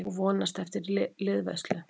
Og vonast eftir liðveislu.